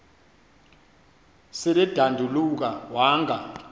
sel edanduluka wanga